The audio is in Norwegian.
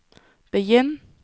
begynn